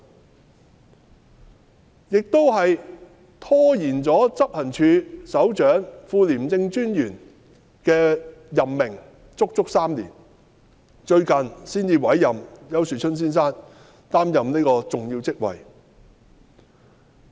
此外，廉署亦拖延了執行處首長及副廉政專員的任命足足3年，最近才委任丘樹春先生擔任這個重要職位。